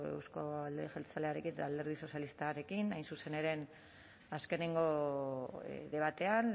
euzko alderdi jeltzalearen eta alderdi sozialistarekin hain zuzen ere azkenengo debatean